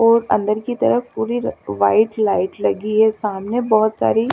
को अंदर कि तरफ पूरी वाईट लाईट लगी है सामने बहोत सारी--